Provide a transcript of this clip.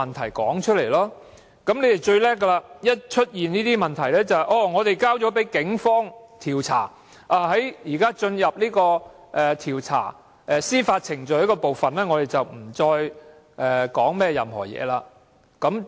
他們最厲害的是，只要出現了問題，便推說事件已交給警方調查，現階段已進入了調查及司法程序，不便作任何評論。